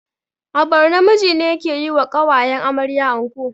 A borno miji ne yake yiwa ƙawayen amarya anko